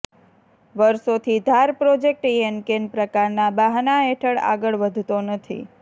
વર્ષોથી ધાર પ્રોજેક્ટ યેનકેન પ્રકારના બહાના હેઠળ આગળ વધતો નથી